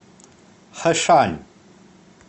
хэшань